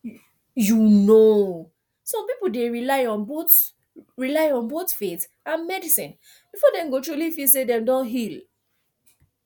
you know some people dey rely on both rely on both faith and medicine before dem go truly feel say dem don heal